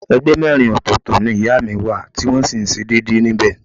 Ẹgbẹ́ mẹ́rin ọ̀tọ̀ọ̀tọ̀ ni ìyá mi wà tí wọ́n sì ń ṣe déédéé níbẹ̀